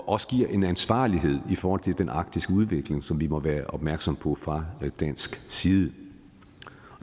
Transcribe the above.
også en ansvarlighed i forhold til den arktiske udvikling som vi må være opmærksom på fra dansk side